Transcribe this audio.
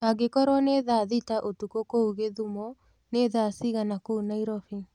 angĩkorwo ni thaa thĩta ũtũkũ kũũ gĩthũmo ni thaa cĩĩgana kũũ naĩrobĩ